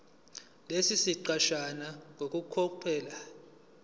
lesi siqeshana ngokucophelela